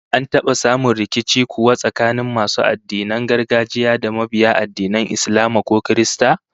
An taba samun rikici kuwa tsakanin masu addinin gargajiya da mabiya addinan Islama ko Kirista?